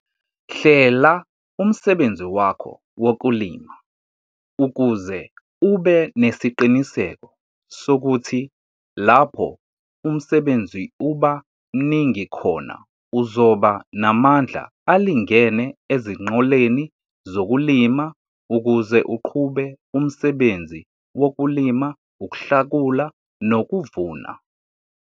Hlela umsebenzi wakho wokulima ukuze ube nesiqiniseko sokuthi lapho umsebenzi uba mningi khona uzoba namandla alingene ezinqoleni zokulima ukuze uqhube umsebenzi wokulima, ukuhlakula nokuvuna.